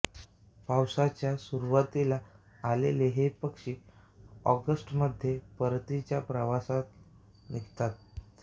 पावसाच्या सुरूवातीला आलेले हे पक्षी ऑगस्टमध्ये परतीच्या प्रवासाला निघतात